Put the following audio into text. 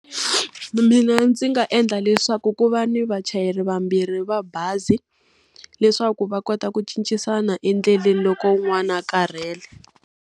Mina ndzi nga endla leswaku ku va ni vachayeri vambirhi va bazi. Leswaku va kota ku cincisana endleleni loko wun'wana a karhele.